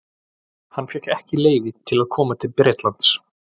Hann fékk ekki leyfi til að koma til Bretlands.